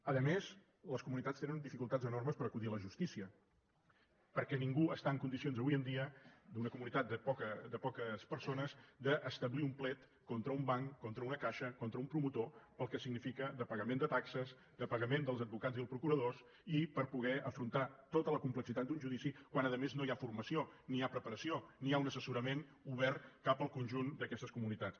a més les comunitats tenen dificultats enormes per acudir a la justícia perquè ningú està en condicions avui en dia d’una comunitat de poques persones d’establir un plet contra un banc contra una caixa contra un promotor pel que significa de pagament de taxes de pagament dels advocats i els procuradors i per poder afrontar tota la complexitat d’un judici quan a més no hi ha formació ni hi ha preparació ni hi ha un assessorament obert cap al conjunt d’aquestes comunitats